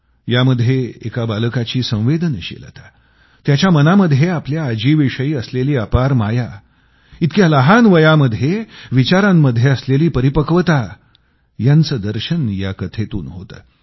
यामध्ये एका बालकाची संवेदनशीलता त्याच्या मनामध्ये आपल्या आजीविषयी असलेली अपार माया इतक्या लहान वयामध्ये विचारांमध्ये असलेली परिपक्वता यांचं दर्शन या कथेतून होतं